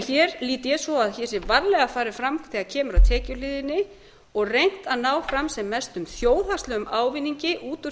hér lít ég svo á að hér sé varlega farið fram þegar kemur að tekjuhliðinni og reynt að ná fram sem mestum þjóðhagslegum ávinningi út úr